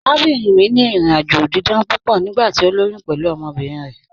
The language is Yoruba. Àràbìnrin mi ni ìrìn-àjọ̀ dídán púpọ̀ nígbàtí o lóyún pẹ̀lú ọmọbirin rẹ.